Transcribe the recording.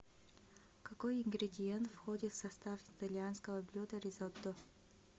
какой ингредиент входит в состав итальянского блюда ризотто